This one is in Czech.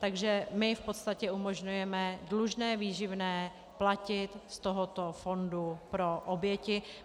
Takže my v podstatě umožňujeme dlužné výživné platit z tohoto fondu pro oběti.